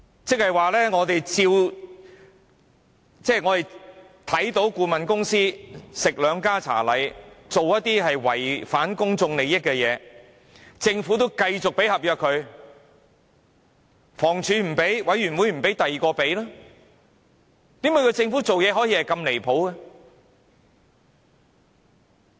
這即是說，我們見到顧問公司"吃兩家茶禮"，做了一些違反公眾利益的事情，但政府卻仍然與它簽訂合約，房屋署不訂定，委員會不給簽訂，便由另一個部門與它簽訂好了。